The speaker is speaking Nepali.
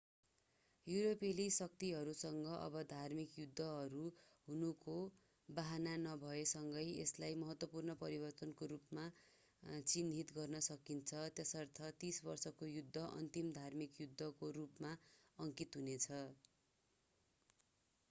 युरोपेली शक्तिहरूसँग अब धार्मिक युद्धहरू हुनुको बहाना नभए सँगै यसलाई महत्त्वपूर्ण परिवर्तनको रूपमा चिन्हित गर्न सकिन्छ यसर्थ तीस वर्षको युद्ध अन्तिम धार्मिक युद्धको रूपमा अङ्कित हुनेछ